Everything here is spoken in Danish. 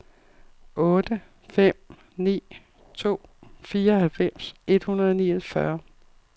otte fem ni to fireoghalvfems et hundrede og niogfyrre